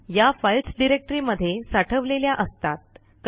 या फाईल्स डिरेक्टरीमध्ये साठवलेल्या असतात